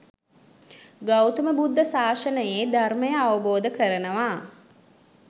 ගෞතම බුද්ධ ශාසනයේ ධර්මය අවබෝධ කරනවා